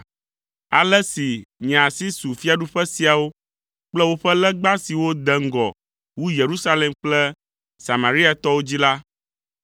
Ale si nye asi su fiaɖuƒe siawo kple woƒe legba siwo de ŋgɔ wu Yerusalem kple Samariatɔwo dzi la,